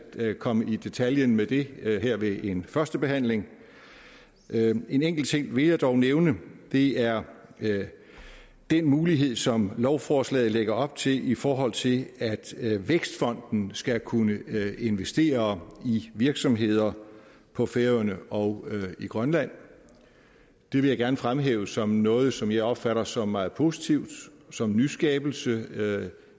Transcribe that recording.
komme i detaljen med det her ved en første behandling en enkelt ting vil jeg dog nævne det er den mulighed som lovforslaget lægger op til i forhold til at vækstfonden skal kunne investere i virksomheder på færøerne og i grønland det vil jeg gerne fremhæve som noget som jeg opfatter som meget positivt som en nyskabelse